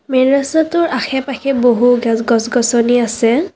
Main ৰাস্তাটোৰ আশে পাশে বহু গছ গছনি আছে।